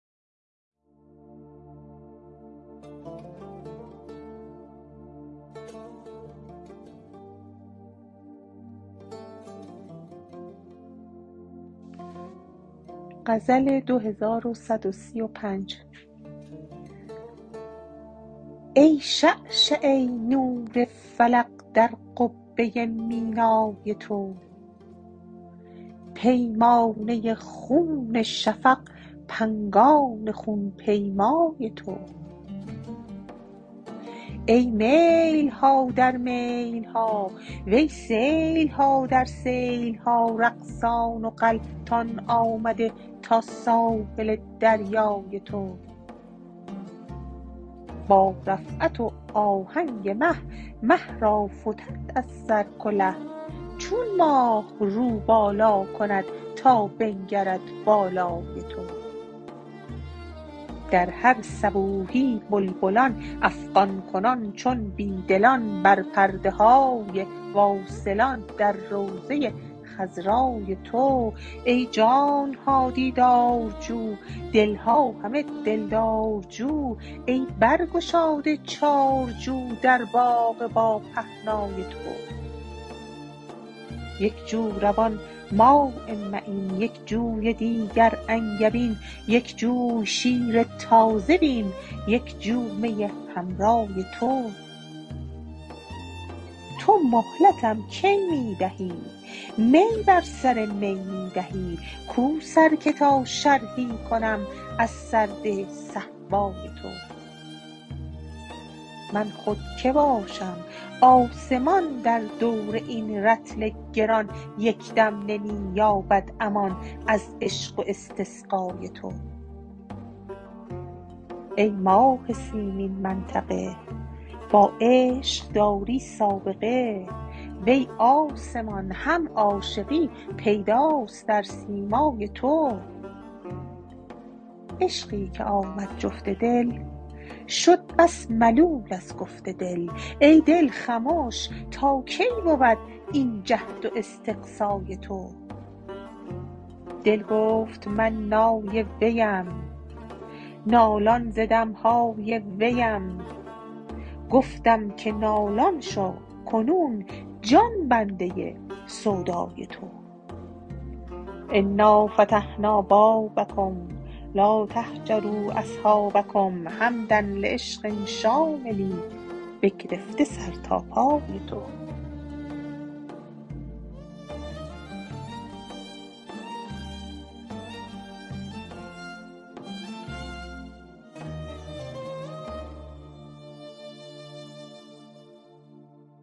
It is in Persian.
ای شعشعه نور فلق در قبه مینای تو پیمانه خون شفق پنگان خون پیمای تو ای میل ها در میل ها وی سیل ها در سیل ها رقصان و غلتان آمده تا ساحل دریای تو با رفعت و آهنگ مه مه را فتد از سر کله چون ماه رو بالا کند تا بنگرد بالای تو در هر صبوحی بلبلان افغان کنان چون بی دلان بر پرده های واصلان در روضه خضرای تو ای جان ها دیدارجو دل ها همه دلدارجو ای برگشاده چارجو در باغ باپهنای تو یک جو روان ماء معین یک جوی دیگر انگبین یک جوی شیر تازه بین یک جو می حمرای تو تو مهلتم کی می دهی می بر سر می می دهی کو سر که تا شرحی کنم از سرده صهبای تو من خود کی باشم آسمان در دور این رطل گران یک دم نمی یابد امان از عشق و استسقای تو ای ماه سیمین منطقه با عشق داری سابقه وی آسمان هم عاشقی پیداست در سیمای تو عشقی که آمد جفت دل شد بس ملول از گفت دل ای دل خمش تا کی بود این جهد و استقصای تو دل گفت من نای ویم نالان ز دم های ویم گفتم که نالان شو کنون جان بنده سودای تو انا فتحنا بابکم لا تهجروا اصحابکم حمدا لعشق شامل بگرفته سر تا پای تو